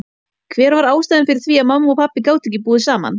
Hver var ástæðan fyrir því að mamma og pabbi gátu ekki búið saman?